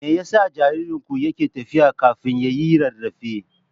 Me yasa jaririnku yake tafiya kafin ya yi rarrafe?